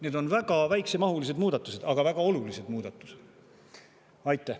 Need on väga väiksemahulised, aga väga olulised muudatused.